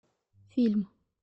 фильм